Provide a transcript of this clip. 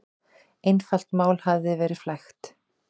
Einfalt mál hafi verið flækt.